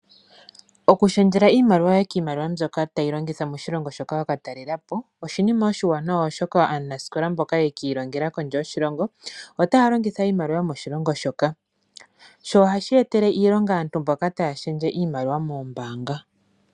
Oku shendjela iimaliwa yo ye kiimaliwa mbyoka tayi longithwa moshilongo shoka wa ka talelapo. Oshinima oshiwanawa aanasikola mboka yekiilongela kondje yoshilongo otaya longitha iimaliwa yomoshilongo shoka. Sho ohashi etele aantu mboka taya shendje iimaliwa noombaanga iilonga.